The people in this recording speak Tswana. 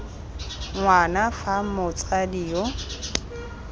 ng wana fa motsadi yo